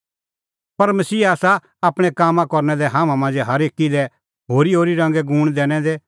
पर मसीहा आसा आपणैं काम करना लै हाम्हां मांझ़ै हरेकी लै होरीहोरी रंगे गूण दैनै दै